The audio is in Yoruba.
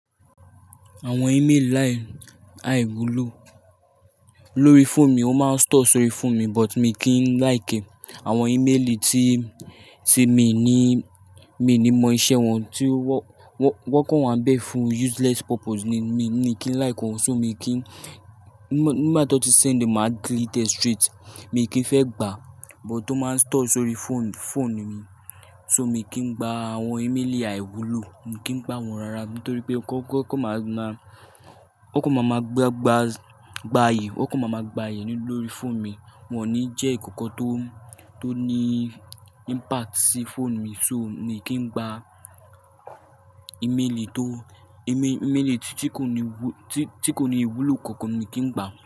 Àwọn email lai àìwúlò lórí fóònù mi ó máa ń store sórí fóònù mi but mi kìn like e. Àwọn email tí, tí mi ní, mi ní mọ iṣẹ́ wọn, tí wọ, wọ, wọ́n kàn wá bẹ́ fún useless purpose ni mi, mi kì í like wọn, ṣó mi kì í, nígbà tí wọ́n ti send e, mà á delete straight. Mi kì í fẹ́ gbà, but ó máa ń store sórí fóònù, fóònù mi. So mi kìn gba àwọn email àìwúlò, mi kì í gba wọn rara nítorí pé kọ, kọ kàn máa máa, ó kàn máa máa gba, gba, gba ayé, ó kàn máa máa gba ayé lórí fóònù mi. Wọ́n ò ní jẹ́ ki nkan tó, tó ní impact sí fóònù mi so mi kì í gba email tó, email, email tí kò ní, tí kò ní ìwúlò kankan mi kì í gba.